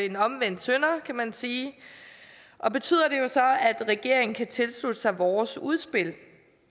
en omvendt synder kan man sige og betyder at regeringen kan tilslutte sig vores udspil